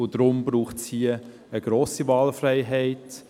Und deshalb braucht es hier eine grosse Wahlfreiheit.